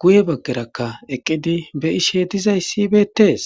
guye baggerakka eqqidi be'ishe dozayssi beettes.